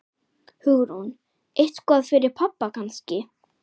Hugrún: Eitthvað fyrir pabba kannski?